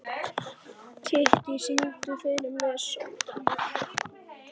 Kittý, syngdu fyrir mig „Sódóma“.